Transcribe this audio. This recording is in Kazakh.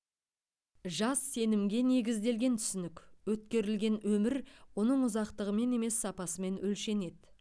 жас сенімге негізделген түсінік өткерілген өмір оның ұзақтығымен емес сапасымен өлшенеді